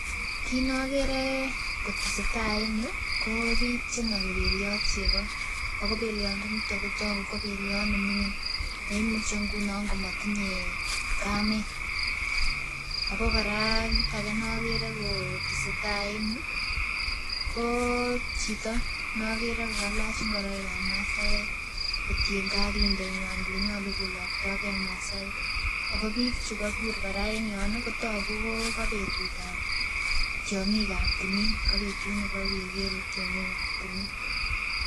Kit nokere kotesetai en yuu ko biik chenogi beliot chego ako beliondo niton kotogu ko beliot neming'in neimuchi ngunon komotinye kamet ako kora kit ake nokere kotesetai en yuu koo chito nokere kokalach ngoroikab masaek kotiengei ak indenywan yenyolu koloktogee masaek ako biik chekobur en yon ih kotogu kokobetutab tiong'ikab timin kobetut nebo keker tiong'ikab timin